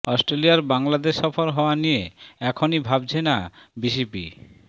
অস্ট্রেলিয়ার বাংলাদেশ সফর হওয়া নিয়ে এখনই ভাবছে না বিসিবি